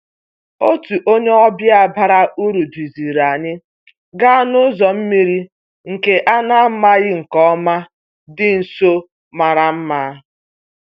Otu onye ọbịa bara uru duziri anyị gaa n'ụzọ mmiri nke a na-amaghị nke ọma dị nso mara mma